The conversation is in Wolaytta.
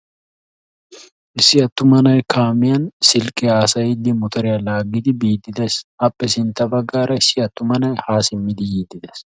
issi attuma na"ay kaamiyani silikiya haassayidi motoriya togidi biidi beettessi issoy qassi haako simid hemettidi beettessi.